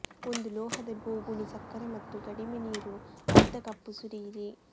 ಒಂದು ಲೋಹದ ಬೋಗುಣಿ ಸಕ್ಕರೆ ಮತ್ತು ಕಡಿಮೆ ನೀರು ಅರ್ಧ ಕಪ್ ಸುರಿಯಿರಿ